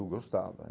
Eu gostava.